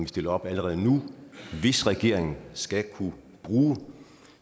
stiller op allerede nu hvis regeringen skal kunne bruge